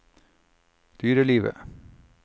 dyrelivet